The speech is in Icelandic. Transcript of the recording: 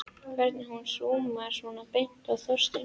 Hvernig hún súmmaði svona beint á Þorstein.